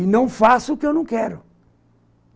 E não faço o que eu não quero.